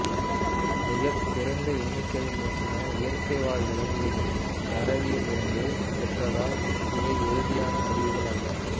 மிகக் குறைந்த எண்ணிக்கையிலான இயற்கைவாழ் விலங்குகளின் தரவில் இருந்து பெற்றதால் இவை உறுதியான முடிவுகள் அல்ல